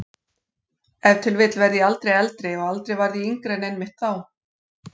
Ef til vill verð ég aldrei eldri og aldrei varð ég yngri en einmitt þá.